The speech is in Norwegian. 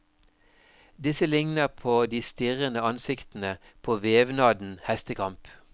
Disse likner på de stirrende ansiktene på vevnaden hestekamp.